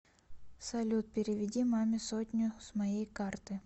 салют переведи маме сотню с моей карты